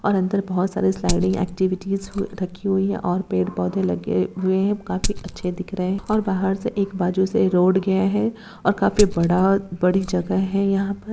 और अंदर बहुत सारी स्लाइडिंग एक्टिविटीज हु रखी हुई है और पेड़ पौधे लगे हुए काफी अच्छे दिख रहे हैं और बाहर से एक बाजू से रोड गया है और काफी बड़ा बड़ी जगह है यहाँ पर--